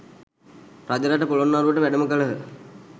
රජරට පොළොන්නරුවට වැඩම කළහ